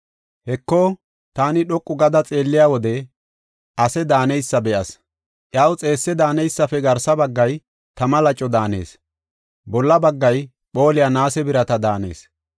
Heko, taani dhoqu gada xeelliya wode ase daaneysa be7as. Iyaw xeesse daaneysafe garsa baggay tama laco daanees; bolla baggay phooliya naase birata daanees.